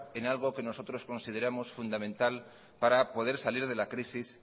en algo que nosotros consideramos fundamental para poder salir de la crisis